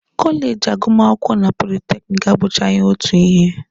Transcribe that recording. Kọleji agụmakwụkwọ na politekiniki abụchaghị otu ihe